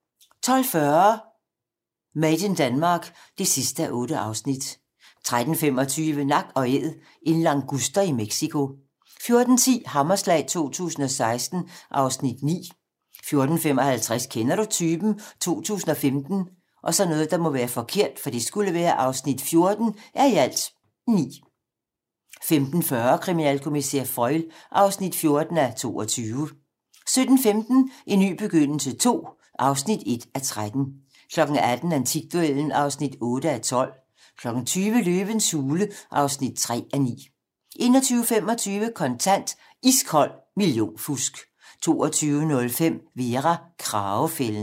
12:40: Made in Denmark (8:8) 13:25: Nak & Æd - en languster i Mexico 14:10: Hammerslag 2016 (Afs. 9) 14:55: Kender du typen? 2015 (14:9) 15:40: Kriminalkommissær Foyle (14:22) 17:15: En ny begyndelse II (1:13) 18:00: Antikduellen (8:12) 20:00: Løvens hule (3:9) 21:25: Kontant: Iskold millionfusk 22:05: Vera: Kragefælden